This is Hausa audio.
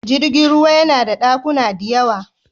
Jirgin ruwa yana da ɗakuna diyawa.